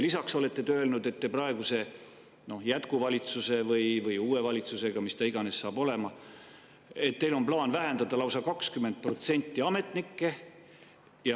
Lisaks olete te öelnud, et praeguse jätkuvalitsusega või uue valitsusega, mis iganes ta saab olema, on teil plaan vähendada ametnike lausa 20%.